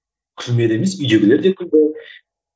күлмеді емес үйдегілер де күлді